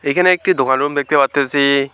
এখানে একটি দোকান রুম দেখতে পারতাসি।